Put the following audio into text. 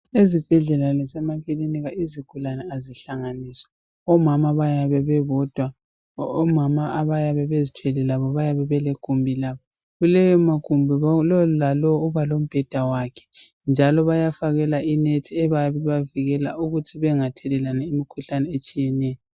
Ezibhedlela lasemakilinika izigulani azihlanganiswa omama bayabe bebodwa omama abayabe bezithwele labo bayabe belegumbi labo kulewo magumbi lo lalowo uba lombheda wakhe njalo baya bafakela inethi eyabe ibavikela ukuthi bengathelelani imikhuhlane etshiyeneyo